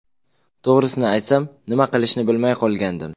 To‘g‘risini aytsam, nima qilishni bilmay qolgandim.